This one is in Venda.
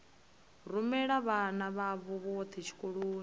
rumela vhana vhavho vhothe tshikoloni